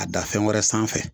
A dan fɛn wɛrɛ sanfɛ